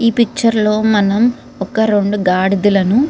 ఈ పిక్చర్ లో మనం ఒక రెండు గాడిదలను --